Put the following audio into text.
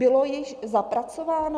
Bylo již zapracováno?